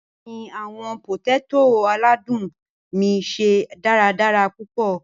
Bẹẹni, awọn poteto aladun mi ṣe daradara pupọ.